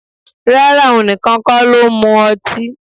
Rárá, òun nìkan ksn ló ń mu ọtí